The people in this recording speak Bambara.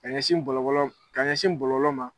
Ka ɲɛsin bɔlɔbɔlɔ, ka ɲɛsin bɔlɔlɔ ma.